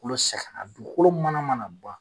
kulo sɛgɛ la dukolo mana mana ban.